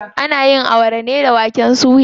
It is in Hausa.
Ana yin Awara ne da waken suya.